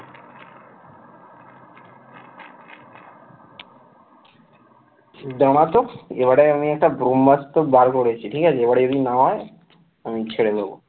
দাঁড়াও তো এবারে আমি এক ব্রহ্মাস্ত বের করেছি ঠিক আছে এবারে এমনি নামাই আমি ছেড়ে দেব